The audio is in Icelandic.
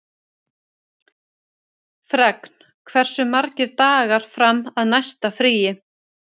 Fregn, hversu margir dagar fram að næsta fríi?